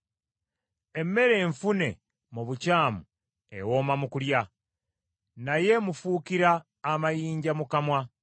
Emmere enfune mu bukyamu ewooma mu kulya, naye emufuukira amayinja mu kamwa.